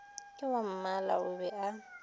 ke wammala o be a